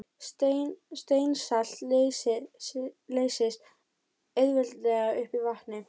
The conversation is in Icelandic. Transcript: Steinsalt leysist auðveldlega upp í vatni.